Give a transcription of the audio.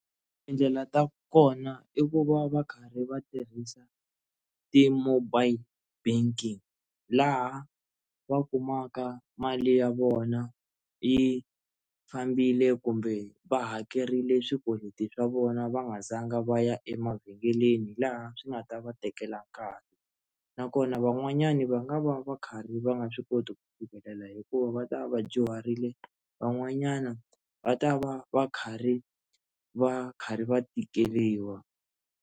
I ndlela ta kona i ku va va karhi va tirhisa ti mobile banking laha va kumaka mali ya vona yi fambile kumbe va hakerile swikweleti swa vona va nga zanga va ya emavhengeleni hi laha swi nga ta va tekela nkarhi nakona van'wanyana va nga va va va karhi va nga swi koti ku fikelela hikuva va ta vadyuharile van'wanyana va ta va va karhi va karhi va tikeriwa.